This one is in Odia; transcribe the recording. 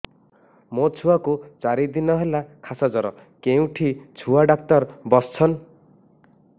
ମୋ ଛୁଆ କୁ ଚାରି ଦିନ ହେଲା ଖାସ ଜର କେଉଁଠି ଛୁଆ ଡାକ୍ତର ଵସ୍ଛନ୍